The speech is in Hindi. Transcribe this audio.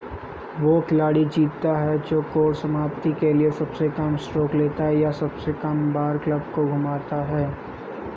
वो खिलाड़ी जीतता है जो कोर्स समाप्ति के लिए सबसे कम स्ट्रोक लेता या सबसे कम बार क्लब को घुमाता है